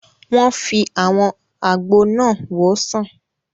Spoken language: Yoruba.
Wọ́n fi àwọn àgbo náà wòó sàn